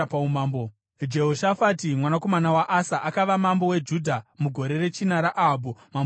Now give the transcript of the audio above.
Jehoshafati mwanakomana waAsa akava mambo weJudha mugore rechina raAhabhu, mambo weIsraeri.